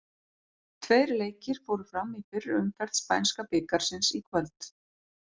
Tveir leikir fóru fram í fyrri umferð spænska bikarsins í kvöld.